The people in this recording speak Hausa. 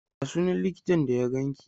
Ya sunan likitan da ya ganki?